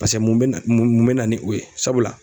Paseke mun bɛ na mun mun bɛ na ni o ye sabula